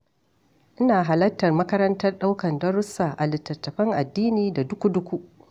Ina halarta makarantar ɗaukar darussa a littattafan addini da duku-duku.